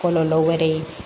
Kɔlɔlɔ wɛrɛ ye